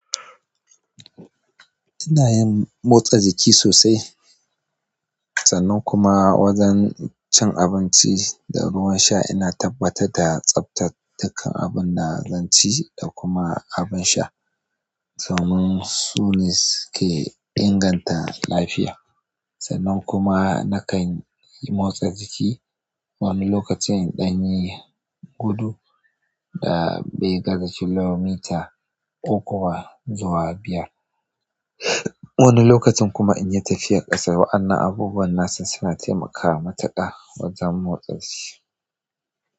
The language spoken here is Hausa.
Ina yin motsa jiki sosai, sannan kuma wajen cin abinci da ruwan sha ina tabbatar da tsaftata kan abun da zan ci da kuma abin sha. Kaman su ne suke inganta lafiya. Sannan kuma nakan yi motsa jiki wani lokacin in ɗan yi gudu da bai gaza kilomita uku zuwa biyar. Wani lokacin kuma inyi tafiya ƙasa wa'anan abubuwan nasan suna taimakawa matuƙa wajen motsa jiki.